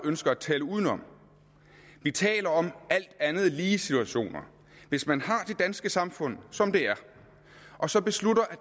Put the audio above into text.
ønsker at tale udenom vi taler om alt andet lige situationer hvis man har det danske samfund som det er og så beslutter at